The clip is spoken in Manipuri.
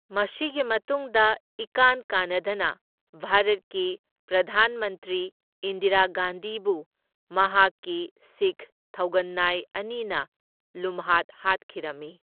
ꯃꯁꯤꯒꯤ ꯃꯇꯨꯡꯗ ꯏꯀꯥꯟ ꯀꯥꯟꯅꯗꯅ, ꯚꯥꯔꯠꯀꯤ ꯄ꯭ꯔꯙꯥꯟ ꯃꯟꯇ꯭ꯔꯤ ꯏꯟꯗꯤꯔꯥ ꯒꯥꯟꯙꯤꯕꯨ ꯃꯍꯥꯛꯀꯤ ꯁꯤꯈ ꯊꯧꯒꯟꯅꯥꯏ ꯑꯅꯤꯅ ꯂꯨꯝꯍꯥꯠ ꯍꯥꯠꯈꯤꯔꯝꯃꯤ꯫